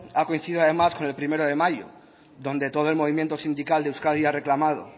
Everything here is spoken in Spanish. ha coincidido además con el uno de mayo donde todo el movimiento sindical de euskadi ha reclamado